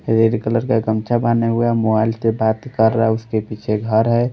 Red colour का गमछा बने हुए। मोबाइल से बात कर रहा है। उसके पीछे घर है।